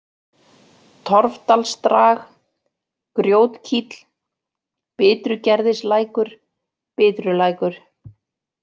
Torfdalsdrag, Grjótkíll, Bitrugerðislækur, Bitrulækur